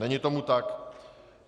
Není tomu tak.